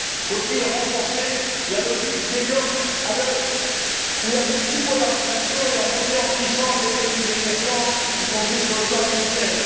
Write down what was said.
Faut il renforcer la logique des blocs, à l'heure de la multipolarisation et de la montée en puissance des pays émergents, y compris sur le plan militaire?